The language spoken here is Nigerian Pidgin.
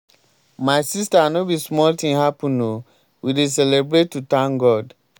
my sister no be small thing happen oo. we dey celebrate to thank god.